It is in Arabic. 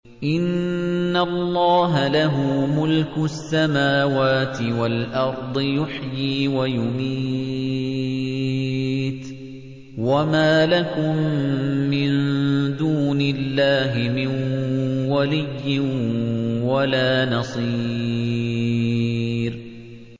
إِنَّ اللَّهَ لَهُ مُلْكُ السَّمَاوَاتِ وَالْأَرْضِ ۖ يُحْيِي وَيُمِيتُ ۚ وَمَا لَكُم مِّن دُونِ اللَّهِ مِن وَلِيٍّ وَلَا نَصِيرٍ